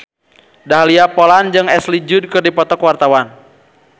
Dahlia Poland jeung Ashley Judd keur dipoto ku wartawan